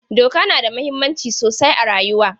Doka na da muhimmanci sosai a rayuwa.